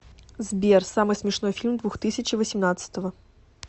сбер самый смешной фильм двухтысячи восемнадцатого